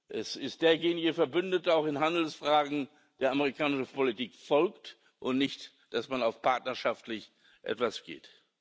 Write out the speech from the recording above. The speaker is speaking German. Es ist derjenige Verbündeter, auch in Handelsfragen, der amerikanischer Politik folgt, und nicht, dass auch mal partnerschaftlich was geht.